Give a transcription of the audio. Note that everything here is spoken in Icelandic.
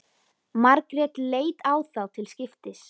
Margrét leit á þá til skiptis.